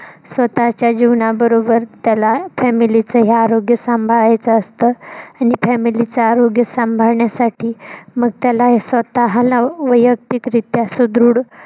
स्वतःच्या जीवना बरोबर त्याला family च ही आरोग्य सांभाळायचं असत आणि family च आरोग्य सांभाळण्यासाठी मग त्याला स्वतःला वयक्तिक रित्या सुदृढ